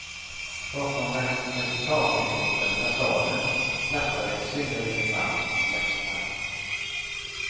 Bakom den resultatinriktade fasaden klappade ett synnerligen varmt hjärta.